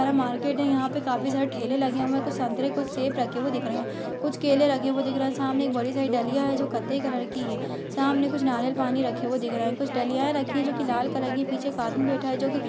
market है | यहां पर काफी सारे ठेले लगे हुए हैं कुछ संतरे और सेव रखे हुए दिख रहे हैं कुछ केले रखे हुए दिख रहे हैं सामने बड़ी सी एक दलिया है जो कत्थई कलर की है सामने कुछ नारियल पानी रखे हुए दिख रहे हैं कुछ दलिया रखी हुई है जो की लाल कलर की है पीछे एक आदमी बैठा है जो की --